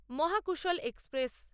Mahakoshal express